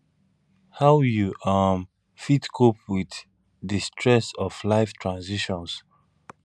how you um fit cope with di stress of life transitions